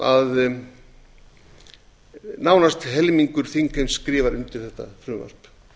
að nánast helmingur þingheims skrifar undir þetta frumvarp